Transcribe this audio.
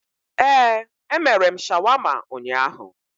Ee, emere m shawama ụnyaahụ